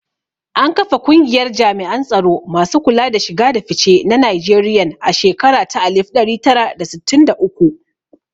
An kafa kungiyar jami'an tsaro masu kula da shiga da fice na Nigerian a shekara ta alif ɗari tara da sittin da uku